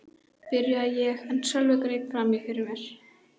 byrjaði ég en Sölvi greip fram í fyrir mér.